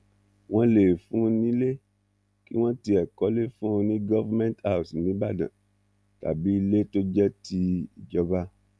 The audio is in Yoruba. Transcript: wọn lè fún un nílé kí wọ́n tiẹ̀ kọ́lé fún un ní government house níbàdàn tàbí ilé tó jẹ́ tìjọba